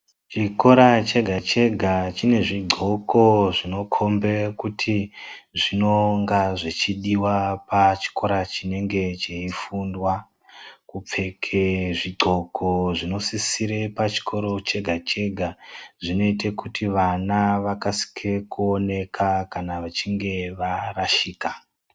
Chikora chega-chega chine zvidxoko zvinokombe kuti zvinonga zvichidiwa pachikora chinenge cheifundwa. Kupfeke zvidxoko zvinosisire pachikora chega-chega zvinoite kuti vana vakasike kuoneka kana vachinge varashika.